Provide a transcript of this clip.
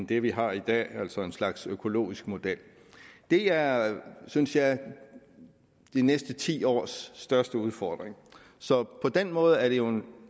det vi har i dag altså en slags økologisk model det er synes jeg de næste ti års største udfordring så på den måde er det jo en